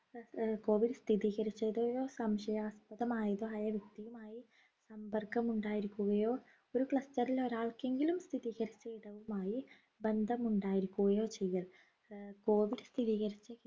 ഏർ COVID സ്ഥിരീകരിച്ചതയോ സംശയാസ്പദമായതോ ആയ വ്യക്തിയുമായി സമ്പർക്കം ഉണ്ടായിരിക്കുകയോ ഒരു cluster ൽ ഒരാൾക്ക് എങ്കിലും സ്ഥിരീകരിച്ച ഇടവുമായി ബന്ധം ഉണ്ടായിരിക്കുകയോ ചെയ്യൽ ആഹ് COVID സ്ഥിരീകരിച്ച